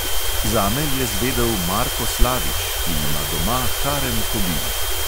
Zame je zvedel marko slavič, ki ima doma harem kobil.